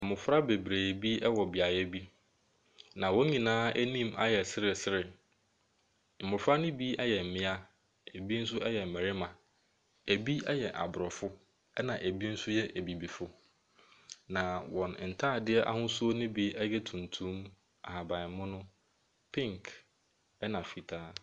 Mmofra bebree bi ɛwɔ beaeɛ bi, na wɔn nyinaa anim ayɛ seresere. Mmofra no bi ɛyɛ mmea, ebi nso ɛyɛ mmɛrima. Ebi ɛyɛ Aborɔfo, ɛna ebi nso yɛ Abibifo. Na wɔn ntaadeɛ ahosuo no bi yɛ tuntum, ahabanmono, pink ɛna fitaa.